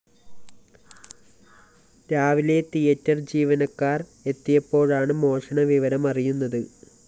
രാവിലെ തിയേറ്റർ ജീവിനക്കാര്‍ എത്തിയപ്പോഴാണ് മോഷണവിവരം അറിയുന്നത്